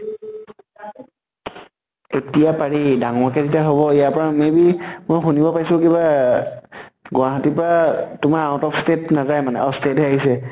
এতিয়া পাৰি। ডাঙৰ কে এতিয়া হব ইয়াৰ পৰা may be মই শুনিব পাইছো কিবা আহ গুৱাহাটীৰ পৰা আহ তোমাত out of state নাযায় মানে। অ state হে আহিছে